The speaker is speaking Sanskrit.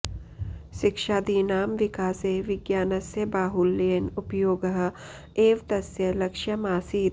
शिक्षादीनां विकासे विज्ञानस्य बाहुल्येन उपयोगः एव तस्य लक्ष्यम् आसीत्